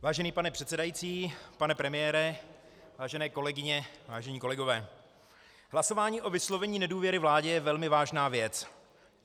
Vážený pane předsedající, pane premiére, vážené kolegyně, vážení kolegové, hlasování o vyslovení nedůvěry vládě je velmi vážná věc.